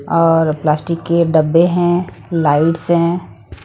और प्लास्टिक के डब्बे हैं लाइट्स हैं।